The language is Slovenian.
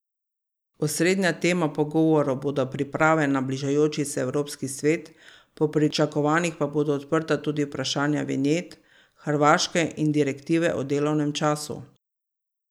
Osrednja tema pogovorov bodo priprave na bližajoči se Evropski svet, po pričakovanjih pa bodo odprta tudi vprašanja vinjet, Hrvaške in direktive o delovnem času.